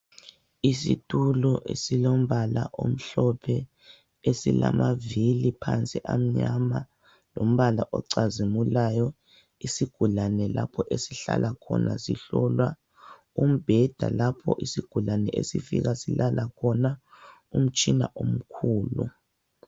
Isitulo esilombala omhlophe. Esilamavili phansi amnyama lombala ocazimulayo. Isiigulane lapho esihlala khona sihlolwa. Umbheda lapho isigulane esifika silala khona. Umtshina omkhulu